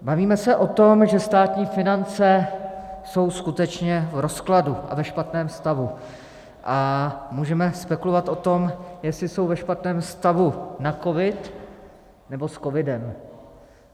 Bavíme se o tom, že státní finance jsou skutečně v rozkladu a ve špatném stavu, a můžeme spekulovat o tom, jestli jsou ve špatném stavu na covid, nebo s covidem.